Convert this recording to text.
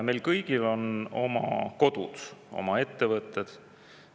Meil kõigil on oma kodud, oma ettevõtted.